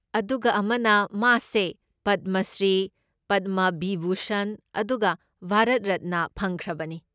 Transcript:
ꯑꯗꯨꯒ ꯑꯃꯅ, ꯃꯥꯁꯦ ꯄꯗꯃ ꯁ꯭ꯔꯤ, ꯄꯗꯃ ꯕꯤꯚꯨꯁꯟ ꯑꯗꯨꯒ ꯚꯥꯔꯠ ꯔꯠꯅꯥ ꯐꯪꯈ꯭ꯔꯕꯅꯤ꯫